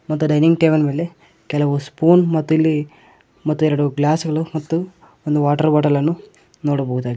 ಮತ್ತು dining table ಮೇಲೆ ಕೆಲವು ಸ್ಪೂನ್ ಮತ್ತು ಇಲ್ಲಿ ಮತ್ತು ಎರಡು ಗ್ಲಾಸ್ ಗಳು ಮತ್ತು ಒಂದು ವಾಟರ್ ಬಾಟಲ್ ಅನ್ನು ನೋಡಬಹುದಾಗಿ --